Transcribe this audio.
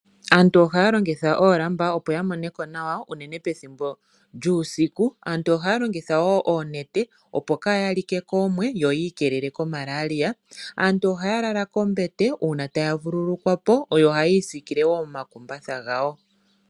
Aantu ohaya longitha oolamba opo yamone ko nawa, unene pethimbo lyuusiku. Aantu ohaya longitha wo oonete, opo kaaya like koomwe, yo yi ikeelele koMalaria. Ohaya lala kombete, uuna taya vululukwa po, yo ohayii sikile wo nomakumbatha gawo.